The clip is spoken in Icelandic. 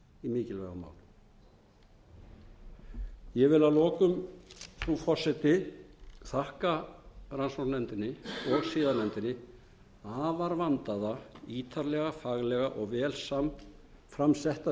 mikilvægum málum ég vil að lokum frú forseti þakka rannsóknarnefndinni og siðanefndinni afar vandaða ítarlega faglega og vel framsetta